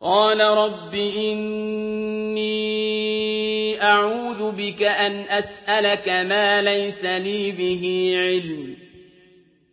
قَالَ رَبِّ إِنِّي أَعُوذُ بِكَ أَنْ أَسْأَلَكَ مَا لَيْسَ لِي بِهِ عِلْمٌ ۖ